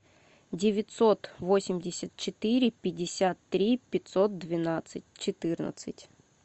девятьсот восемьдесят четыре пятьдесят три пятьсот двенадцать четырнадцать